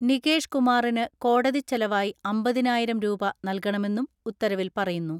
നികേഷ് കുമാറിന് കോടതിച്ചെലവായി അമ്പതിനായിരം രൂപ നൽകണമെന്നും ഉത്തരവിൽ പറയുന്നു.